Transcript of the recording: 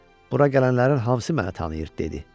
Bura gələnlərin hamısı məni tanıyır," dedi.